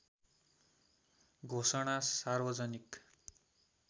घोषणा सार्वजनिक